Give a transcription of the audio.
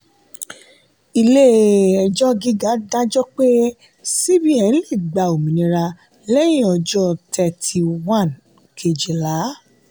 ilé-ẹjọ́ gíga dájọ́ pé cbn lè gba òmìnira lẹ́yìn ọjọ́ thirty one kejìlá.